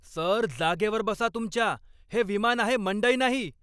Sir, जागेवर बसा तुमच्या. हे विमान आहे, मंडई नाही!